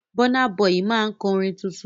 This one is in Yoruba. Bọ́ná bọyì máa kọ orin tuntun.